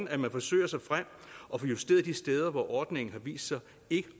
at man forsøger sig frem og får justeret de steder hvor ordningen har vist sig ikke